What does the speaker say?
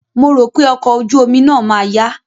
Mo rò pé ọkọ̀ ojú omi náà ma yá.